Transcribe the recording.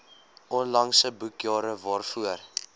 onlangse boekjare waarvoor